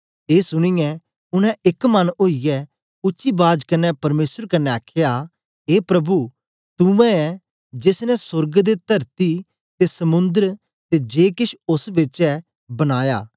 ए सुनीयै उनै एक मन ओईयै उच्ची बाज कन्ने परमेसर कन्ने आखया ए प्रभु तू उवै ऐं जेस ने सोर्ग ते तरती ते समुंद्र ते जे केछ ओस बेच ऐ बनाया